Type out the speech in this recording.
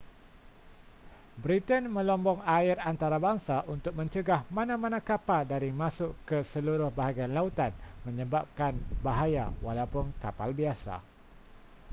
britain melombong air antarabangsa untuk mencegah mana-mana kapal dari masuk ke seluruh bahagian lautan menyebabkan bahaya walaupun kapal biasa